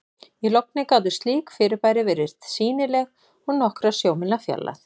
Í logni gátu slík fyrirbæri verið sýnileg úr nokkurra sjómílna fjarlægð.